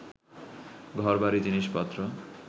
ঘর-বাড়ি, জিনিস-পত্র